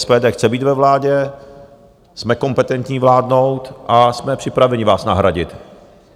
SPD chce být ve vládě, jsme kompetentní vládnout a jsme připraveni vás nahradit.